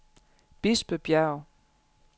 Bispebjerg